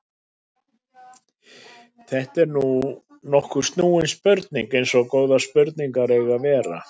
Þetta er nokkuð snúin spurning eins og góðar spurningar eiga að vera.